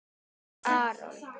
Þinn, Aron.